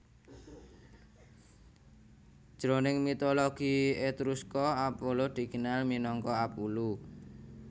Jroning mitologi Etruska Apollo dikenal minangka Apullu